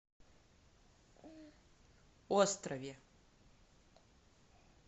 острове